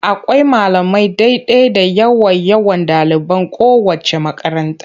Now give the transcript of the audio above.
Akwai malamai daidai da yawan yawan ɗaliban kowaceec makaranta.